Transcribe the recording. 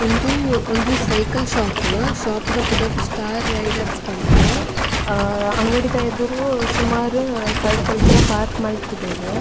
ಉಂದು ಒಂಜಿ cycle shop shop ದ ಪುದರ್ ಸ್ಟಾರ್ ರೈಡರ್ಸ್ ಪಂದ್ ಅ ಅಂಗಡಿದ ಎದುರು ಸುಮಾರ್ ಸೈಕಲ್ ಪೂರ ಪಾರ್ಕ್ ಮಲ್ತದೆರ್.